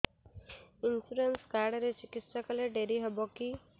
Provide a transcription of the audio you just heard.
insurance card ରେ ଚିକିତ୍ସା କଲେ ଡେରି ହବକି